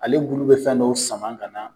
Ale bulu bɛ fɛn dɔw sama ka na